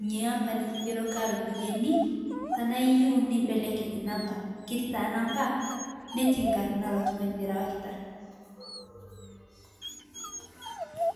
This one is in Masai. inia ampaa niking'eroka ropiyani tanaa iyeu nimbelekeny nampaa ketii taa nampaa netii nkarnaa elo tung'anii lirawakitaa.